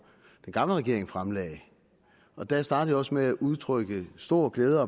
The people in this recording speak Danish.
den gamle regering fremsatte og der startede jeg også med at udtrykke stor glæde